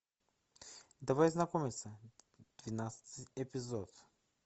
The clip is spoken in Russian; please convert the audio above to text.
давай знакомиться двенадцатый эпизод